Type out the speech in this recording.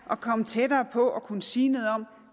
at komme tættere på at kunne sige noget om